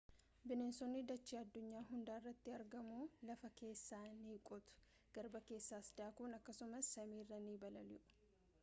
bineensonni dachee addunyaa hundarratti argamu.lafa keessa ni qotu garba keessas daakuun akkasumas samiirra ni balali’u